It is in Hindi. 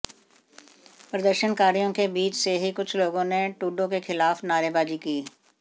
प्रदर्शनकारियों के बीच से ही कुछ लोगों ने ट्रुडो के ख़िलाफ़ नारेबाज़ी की